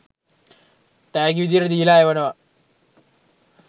තෑගි විධියට දීලා එවනවා.